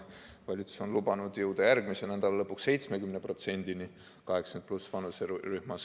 Valitsus on lubanud jõuda järgmise nädala lõpuks 70%-ni 80+ vanuserühmas.